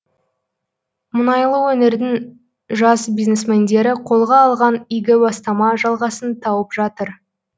мұнайлы өңірдің жас бизнесмендері қолға алған игі бастама жалғасын тауып жатыр